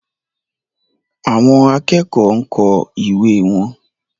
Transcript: Àwọn akẹ́kọ̀ọ́ ń kọ ìwé wọn.